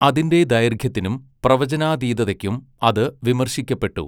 അതിൻ്റെ ദൈർഘ്യത്തിനും പ്രവചനാതീതതയ്ക്കും അത് വിമർശിക്കപ്പെട്ടു.